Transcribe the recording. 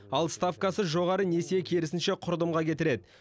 ал ставкасы жоғары несие керісінше құрдымға кетіреді